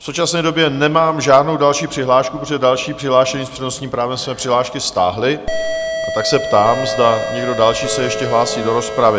V současné době nemám žádnou další přihlášku, protože další přihlášení s přednostním právem své přihlášky stáhli, a tak se ptám, zda někdo další se ještě hlásí do rozpravy?